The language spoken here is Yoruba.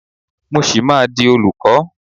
Mo ṣì máa di olùkọ́.